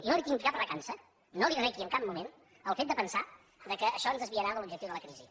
i no li tinc cap recança no li requi en cap moment el fet de pensar que això ens desviarà de l’objectiu de la crisi